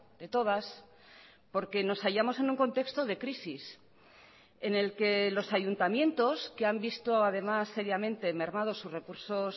de todas porque nos hallamos en un contexto de crisis en el que los ayuntamientos que han visto además seriamente mermados sus recursos